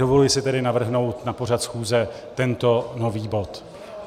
Dovoluji si tedy navrhnout na pořad schůze tento nový bod.